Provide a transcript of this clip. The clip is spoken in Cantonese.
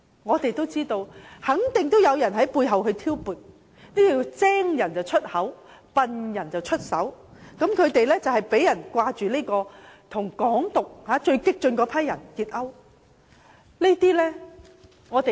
我們知道，肯定有人在背後挑撥，這就是"精人出口，笨人出手"，他們被指勾結推崇"港獨"的最激進人士。